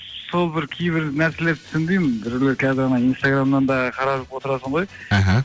сол бір кейбір нәрселерді түсінбеймін біреулер қазір ана инстаграмнан да қарап отырасың ғой іхі